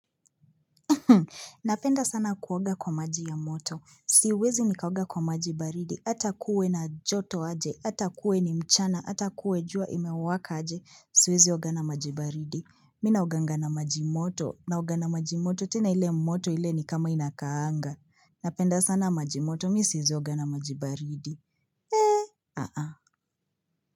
Napenda sana kuoga kwa maji ya moto. Siwezi nikaoga kwa majibaridi. Ata kuwe na joto aje. Atakuwe ni mchana. Atakuwe jua imewaka aje. Siwezi oga na majibaridi. Mimi naoga nao nga na majimoto. Naouga na majimoto. Tena ile moto ile ni kama inakaanga. Napenda sana majimoto. Mimi siwezi oga na majibaridi.